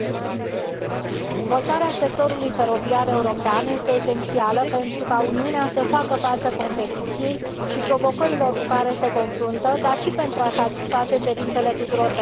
Dezvoltarea sectorului feroviar european este esențială pentru ca Uniunea să facă față concurenței și provocărilor cu care se confruntă, dar și pentru a satisface cerințele tuturor beneficiarilor.